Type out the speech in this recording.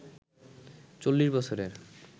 ৪০ বছরের